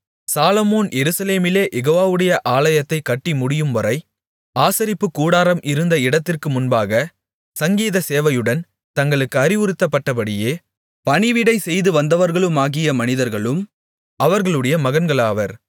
சாலொமோன் எருசலேமிலே யெகோவாவுடைய ஆலயத்தைக் கட்டி முடியும்வரை ஆசரிப்புக்கூடாரம் இருந்த இடத்திற்கு முன்பாக சங்கீத சேவையுடன் தங்களுக்கு அறிவுறுத்தப்பட்டபடியே பணிவிடை செய்துவந்தவர்களுமாகிய மனிதர்களும் அவர்களுடைய மகன்களாவர்